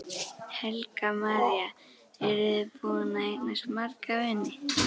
Helga María: Eru þið búin að eignast marga vini?